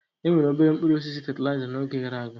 Enwere obere mkpụrụ osisi fatịlaịza n'oge gara aga.